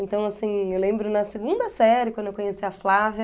Então, assim, eu lembro na segunda série, quando eu conheci a Flávia,